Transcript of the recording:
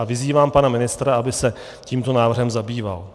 A vyzývám pana ministra, aby se tímto návrhem zabýval.